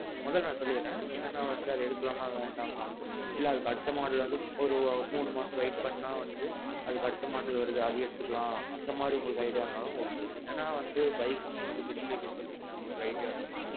மொதோ நான் சொல்லிர்றேன், என்னன்னா நான் எடுக்கலாமா வேண்டாமா, இல்ல அதுக்கு அடுத்த model வந்து ஒரு மூணு மாசம் wait பண்ணா வந்து அதுக்கு அடுத்த model வருது அது எடுத்துக்கலாம் அது மாறி உங்களுக்கு idea இருந்தாலும் okay. ஏன்னா வந்து நீங்க பெரிய bike எடுத்தீர்க்கிங்க உங்களுக்கு ஒரு idea இருக்கும்.